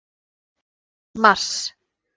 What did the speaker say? mars